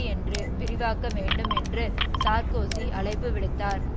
என்று விரிவாக்க வேண்டும் என்று சார்க்கோசி அழைப்பு விடுத்தார்